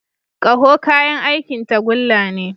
Ƙaho kayan aikin tagulla ne.